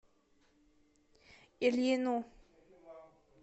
ильину